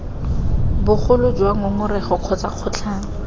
bogolo jwa ngongoreg kgotsa kgotlhang